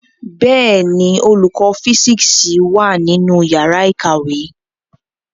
Bẹẹni, olùkọ fisiksi wá nínú yàrá ìkàwé